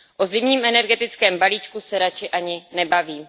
O zimním energetickém balíčku se radši ani nebavím.